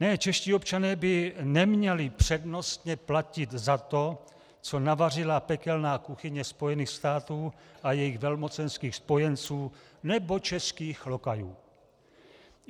Ne, čeští občané by neměli přednostně platit za to, co navařila pekelná kuchyně Spojených států a jejich velmocenských spojenců nebo českých lokajů.